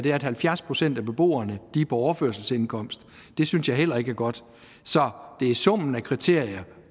at halvfjerds procent af beboerne er på overførselsindkomst det synes jeg heller ikke er godt så det er summen af kriterier